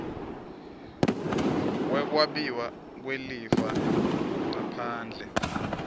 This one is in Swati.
wekwabiwa kwelifa ngaphandle